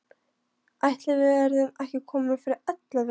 Ætli við verðum ekki komin fyrir ellefu.